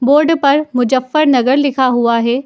Board पर मुजफ्फरनगर लिखा हुआ है।